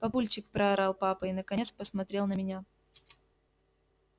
папульчик проорал папа и наконец посмотрел на меня